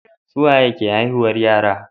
suwaye ke haihuwar yara